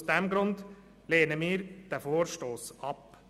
Deshalb lehnen wir diesen Vorstoss ab.